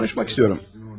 Danışmaq istəyirəm.